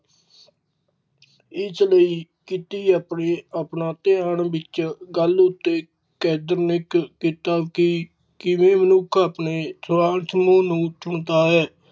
ਇਸ ਲਯੀ ਕੀਤੀ ਆਪਣੀ, ਆਪਣਾ ਧਿਆਨ ਵਿਚ ਗੱਲ ਆਪਣੇ ਅਕੈਦਮਿਕ ਕਿਤਾਬੀ ਕੇੜੇ ਵੀ ਮਨੁੱਖ ਆਪਣੇ ਸਮਾਜ ਸਮੂਹ ਨੂੰ ਚੁਣਦਾ ਹੈ